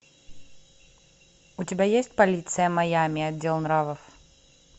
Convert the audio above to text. у тебя есть полиция майами отдел нравов